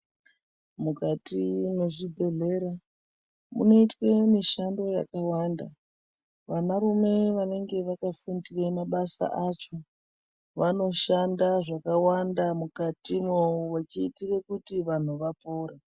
Mukati mwezvibhedhlera munoitwe mishando yakawanda. Vanarume vanenge vakafundire mabasa acho vanoshanda zvakawanda mukatimwo, vechiitire kuti vantu vapore.